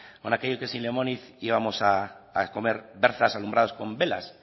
con aquello que sin lemoniz íbamos a comer berzas alumbradas con velas